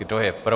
Kdo je pro?